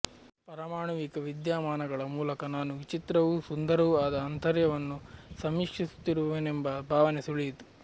ಪರಮಾಣುವಿಕ ವಿದ್ಯಮಾನಗಳ ಮೂಲಕ ನಾನು ವಿಚಿತ್ರವೂ ಸುಂದರವೂ ಆದ ಆಂತರ್ಯವನ್ನು ಸಮೀಕ್ಷಿಸುತ್ತಿರುವೆನೆಂಬ ಭಾವನೆ ಸುಳಿಯಿತು